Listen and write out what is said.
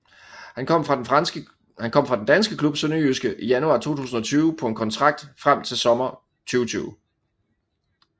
Han kom fra den danske klub SønderjyskE i januar 2020 på en kontrakt frem til sommer 2020